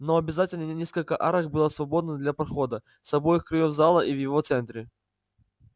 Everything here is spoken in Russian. но обязательно несколько арок было свободно для прохода с обоих краёв зала и в его центре